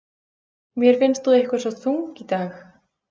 Mér finnst þú eitthvað svo þung í dag.